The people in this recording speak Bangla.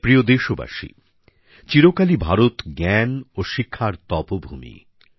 আমার প্রিয় দেশবাসী চিরকালই ভারত জ্ঞান ও শিক্ষার তপভূমি